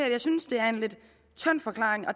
at jeg synes det er en lidt tynd forklaring